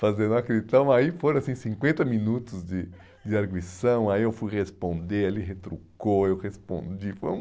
Fazendo aquele... Então, aí foram, assim, cinquenta minutos de de arguição, aí eu fui responder, ele retrucou, eu respondi, foi um...